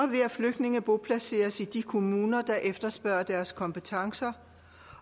ved at flygtninge boplaceres i de kommuner der efterspørger deres kompetencer